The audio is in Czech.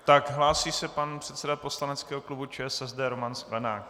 Tak, hlásí se pan předseda poslaneckého klubu ČSSD Roman Sklenák.